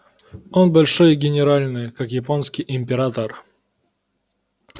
он большой и генеральный как японский император